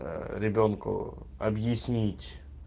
ребёнку объяснить